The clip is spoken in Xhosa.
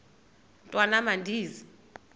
mntwan am andizi